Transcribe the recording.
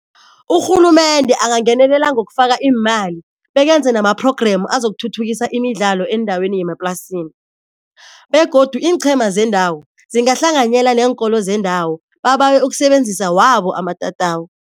Urhulumende angangenelela ngokufaka iimali bekenze nama-program azokuthuthukisa imidlalo eendaweni yemaplasini, begodu iinchema zendawo zingahlanganyela neenkolo zendawo babawe ukusebenzisa wabo amatatawu.